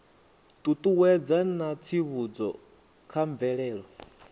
ṱuṱuwedza na tsivhudzo kha mvelelo